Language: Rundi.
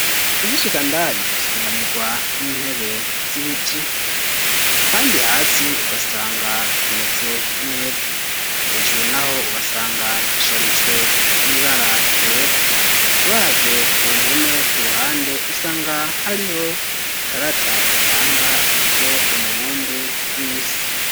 Ugishika indani usanganirwa n'intebe z'ibiti kandi hasi ugasanga hameze neza. Hejuru n'aho ugasanga hasharijwe n'ibara ryera. Uravye ku mpome ku ruhande, usanga hariho ikarata itanga ivyo umubumbe w'isi.